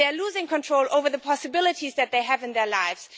They are losing control over the possibilities that they have in their lives.